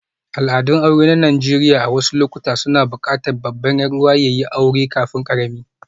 Al'adun aure na Najeriya a wasu lokuta suna buƙatar babban 'yar'uwa ya yi aure kafin ƙarami.